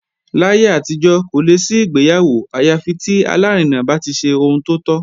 Láyé àtijọ́, kò lè sí ìgbéyàwó àyà fi tí alárinà bá ti ṣe ohun tó tọ́